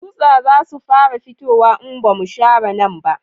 Tsutsa za su fara fitowa in ba mu share nan ba